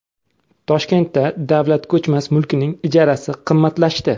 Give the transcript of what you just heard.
Toshkentda davlat ko‘chmas mulkining ijarasi qimmatlashdi.